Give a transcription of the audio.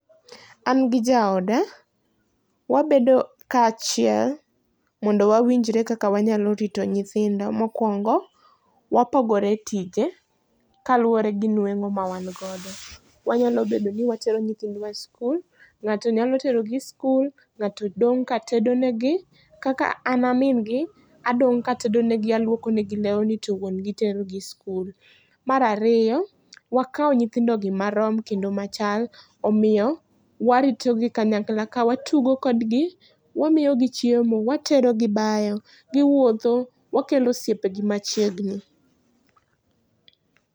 An gi jaoda, wabedo kaachiel, mondo wawinjre kaka wanyalo rito nyithindo. Mokwongo, wapogore tije kaluwore gi nwengó ma wan godo. Wanyalo bedo ni watero nyithindwa e skul, ngáto nyalo terogi skul, ngáto dong' ka tedo negi. Kaka ana min gi, adong' ka atedonegi, alwoko negi lewni to wuon gi tero gi skul. Mar ariyo, wakao nyithindogi marom, kendo machal, omiyo waritogi kanyakla ka watugo kodgi, wamiyo gi chiemo, watero gi bayo, giwuotho, wakelo osiepegi machiegni.